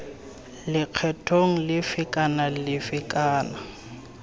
lekgethong lefe kana lefe kana